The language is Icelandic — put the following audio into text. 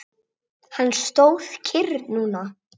Hann stóð kyrr núna.